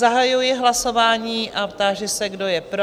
Zahajuji hlasování a táži se, kdo je pro?